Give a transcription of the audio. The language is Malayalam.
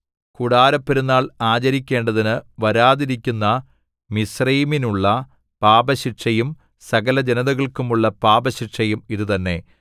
കൂടാരപ്പെരുന്നാൾ ആചരിക്കേണ്ടതിന് വരാതിരിക്കുന്ന മിസ്രയീമിനുള്ള പാപശിക്ഷയും സകലജനതകൾക്കും ഉള്ള പാപശിക്ഷയും ഇതുതന്നെ